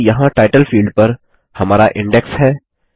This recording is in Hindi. अतः यहाँ टाइटल फील्ड पर हमारा इंडेक्स है